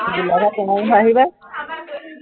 গোলাঘাট কমাৰবন্ধা, আহিবা